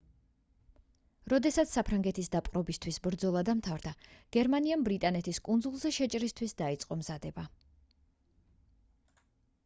როდესაც საფრანგეთის დაპყრობისთვის ბრძოლა დამთავრდა გერმანიამ ბრიტანეთის კუნძულზე შეჭრისთვის დაიწყო მზადება